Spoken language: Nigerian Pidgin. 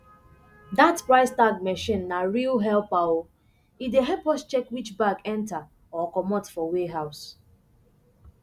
dat price tag machine na real helper o e dey help us check which bag enter or comot for warehouse